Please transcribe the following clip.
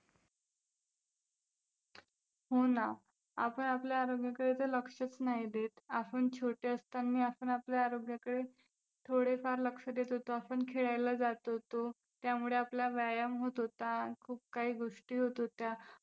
हो ना, आपण आपल्या आरोग्याकडे जर लक्षच नाही देत, आपण छोटे असतानी आपण आपल्या आरोग्याकडे थोडेफार लक्ष देत होतो, आपण खेळायला जात होतो त्यामुळे आपला व्यायाम होत होता, खूप काही गोष्टी होत होत्या.